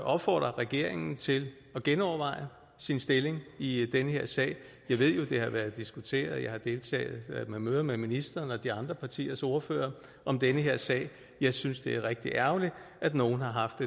opfordre regeringen til at genoverveje sin stilling i den her sag jeg ved jo at det har været diskuteret jeg har deltaget i møder med ministeren og de andre partiers ordførere om den her sag jeg synes det er rigtig ærgerligt at nogle har haft